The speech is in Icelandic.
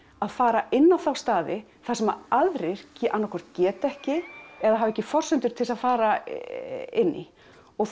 að fara inn á staði þar sem aðrir annað hvort geta ekki eða hafa ekki forsendur til þess að fara inn í og